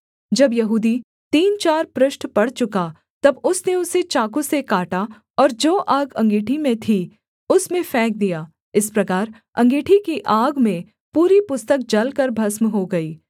जब यहूदी तीन चार पृष्ठ पढ़ चुका तब उसने उसे चाकू से काटा और जो आग अँगीठी में थी उसमें फेंक दिया इस प्रकार अँगीठी की आग में पूरी पुस्तक जलकर भस्म हो गई